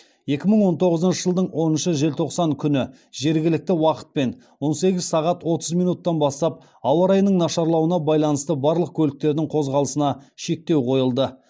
екі мың он тоғызыншы жылдың оныншы желтоқсан күні жергілікті уақытпен он сегіз сағат отыз минуттан бастап ауа райының нашарлауына байланысты барлық көліктердің қозғалысына шектеу қойылды